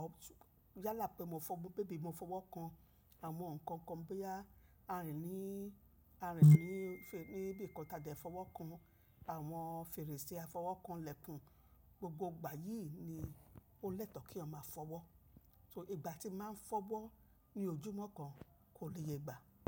ọ̀ yálà pé mo fọ́, bébì mo fọwọ́ kan àwọn nǹkan kan bóyá a rìn ní, a rìn ní, níbi nnkan tájà fọwọ́ kan, àwọn fèrèsé fọwọ́ kan lẹ́kun, gbogbo ìgbà yìí ni ó lẹ́tọ̀ kí èèyàn ma fọwọ́. So ìgbà tí mo máa ń fọwọ́ ní ojúmọ́ kan kò léye ìgbà.